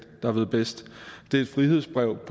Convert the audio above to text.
der ved bedst det er et frihedsbrev i